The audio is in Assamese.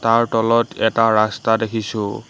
তাৰ তলত এটা ৰাস্তা দেখিছোঁ।